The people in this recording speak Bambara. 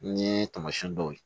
N ye taamasiyɛn dɔw ye